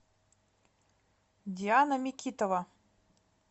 диана микитова